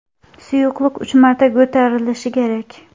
Suyuqlik uch marta ko‘tarilishi kerak.